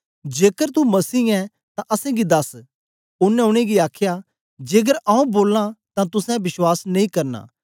जेकर तू मसीह ऐं तां असेंगी दस ओनें उनेंगी आखया जेकर आऊँ बोलां तां तुसें बश्वास नेई करना